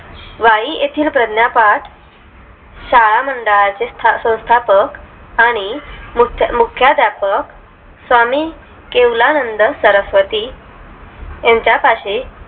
वाई येतील प्राज्ञपाठ शाळामंडळचे सौंस्थापक आणि मुख्याधापक स्वामी केवलानंद सरस्वती यांच्या पाशी